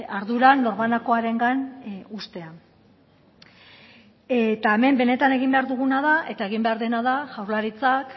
ardura norbanakoarengan uztea eta hemen benetan egin behar duguna da eta egin behar dena da jaurlaritzak